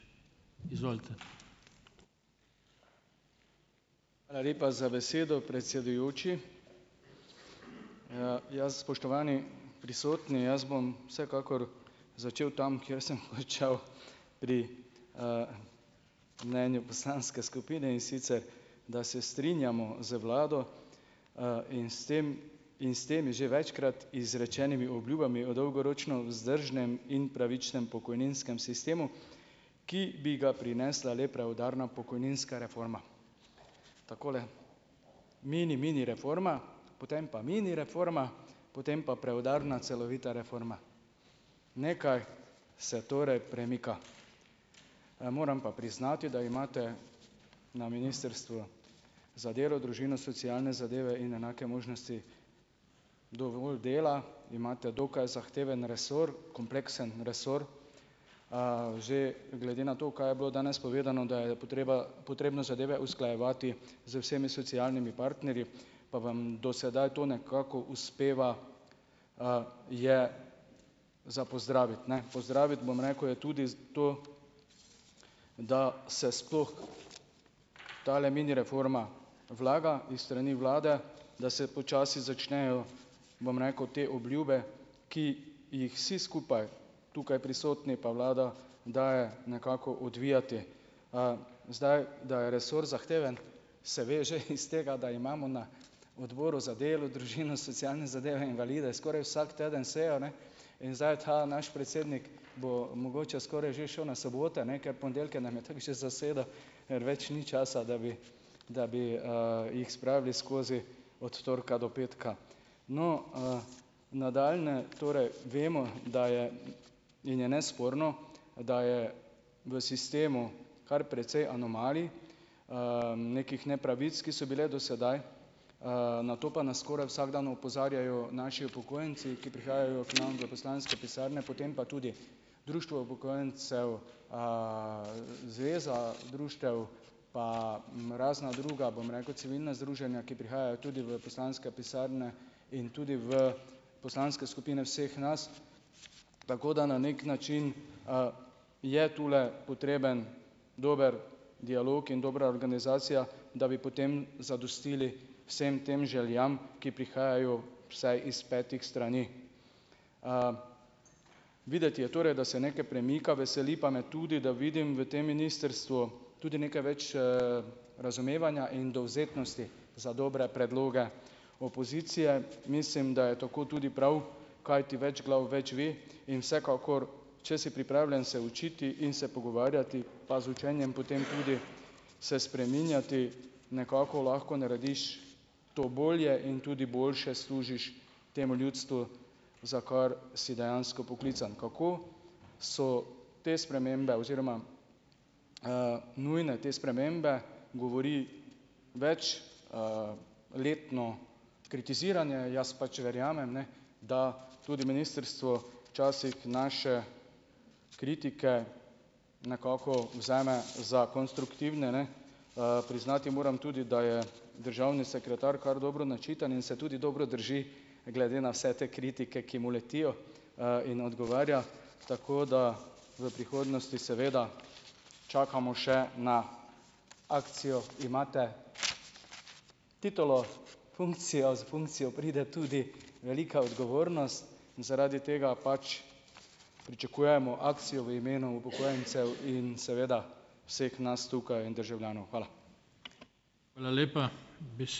lepa za besedo, predsedujoči. ja. Spoštovani prisotni, jaz bom vsekakor začel tam, kjer sem končal pri, mnenju poslanske skupine, in sicer da se strinjamo z vlado, in s tem in s temi že večkrat izrečenimi obljubami o dolgoročno vzdržnem in pravičnem pokojninskem sistemu, ki bi ga prinesla le preudarna pokojninska reforma. Takole. Mini mini reforma. Potem pa mini reforma, potem pa preudarna celovita reforma. Nekaj se torej premika. Moram pa priznati, da imate na Ministrstvu za delo, družino, socialne zadeve in enake možnosti dovolj dela. Imate dokaj zahteven resor, kompleksen resor. Že glede na to, kaj je bilo danes povedano, da je potreba potrebno zadeve usklajevati z vsemi socialnimi partnerji, pa vam do sedaj to nekako uspeva, je za pozdraviti, ne. Pozdraviti, bom rekel, je tudi to, da se sploh tale mini reforma vlaga iz strani vlade, da se počasi začnejo, bom rekel, te obljube, ki jih vsi skupaj tukaj prisotni pa vlada daje, nekako odvijati. Zdaj, da je resor zahteven, se ve že iz tega, da imamo na Odboru za delo, družino, socialne zadeve in invalide skoraj vsak teden sejo, ne, in zdaj je ta naš predsednik, bo mogoče skoraj že šel na sobote, ne, ker ponedeljke nam je tako že zasedel, več ni časa, da bi da bi, jih spravili skozi od torka do petka. No, nadaljnje torej vemo, da je in je nesporno, da je v sistemu kar precej anomalij, nekih nepravic, ki so bile do sedaj. Na to pa nas skoraj vsak dan opozarjajo naši upokojenci, ki prihajajo k nam v poslanske pisarne, potem pa tudi društvo upokojencev, zveza društev, pa, razna druga, bom rekel, civilna združenja, ki prihajajo tudi v poslanske pisarne in tudi v poslanske skupine vseh nas, tako da na neki način, je tule potreben dober dialog in dobra organizacija, da bi potem zadostili vsem tem željam, ki prihajajo vsaj iz petih strani. Videti je torej, da se nekaj premika, veseli pa me tudi, da vidim v tem ministrstvu tudi nekaj več, razumevanja in dovzetnosti za dobre predloge opozicije. Mislim, da je tako tudi prav, kajti več glav več ve. In vsekakor, če si pripravljen se učiti in se pogovarjati, pa z učenjem potem tudi se spreminjati, nekako lahko narediš to bolje in tudi boljše služiš temu ljudstvu, za kar si dejansko poklican. Kako so te spremembe oziroma, nujne te spremembe, govori več, letno kritiziranje. Jaz pač verjamem, ne, da tudi ministrstvo včasih naše kritike nekako vzame za konstruktivne, ne. Priznati moram tudi, da je državni sekretar kar dobro načitan in se tudi dobro drži glede na vse te kritike, ki mu letijo, in odgovarja. Tako da v prihodnosti seveda čakamo še na akcijo, imate titulo, funkcijo, s funkcijo pride tudi velika odgovornost. Zaradi tega pač pričakujemo akcijo v imenu upokojencev in seveda vseh nas tukaj državljanov. Hvala.